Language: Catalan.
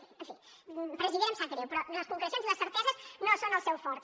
en fi president em sap greu però les concrecions i les certeses no són el seu fort